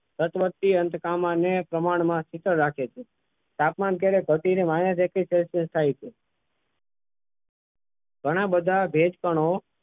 તટવર્ષીય અંત કામાને પ્રમાણમાં શીતલ રાખે છે તાપમાન ક્યારેય ઘટીને minus એકવીસ celcius થાય છે ઘણા બધા ભેજ કણો